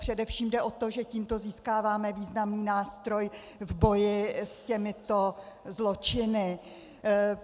Především jde o to, že tímto získáváme významný nástroj v boji s těmito zločiny.